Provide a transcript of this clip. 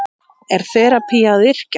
Er þerapía að yrkja?